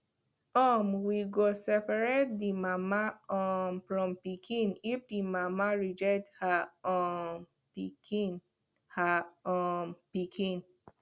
um we go seperate the mama um from pikin if the mama reject her um pikin her um pikin